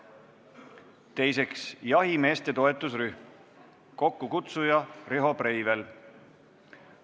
Teiseks, jahimeeste toetusrühm, kokkukutsuja on Riho Breivel.